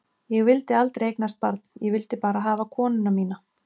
Ég vildi aldrei eignast barn, ég vildi bara hafa konuna mína.